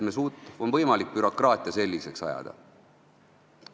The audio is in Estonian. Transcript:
On võimalik bürokraatia selliseks ajada.